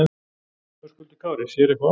Höskuldur Kári: Sér eitthvað á honum?